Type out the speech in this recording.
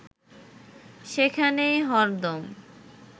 সেখানেই হরদম